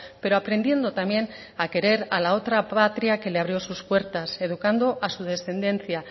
pero aprendiendo también a querer a la otra patria que le abrió sus puertas educando a su descendencia